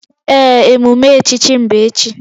Ee, emume echichi m bụ echi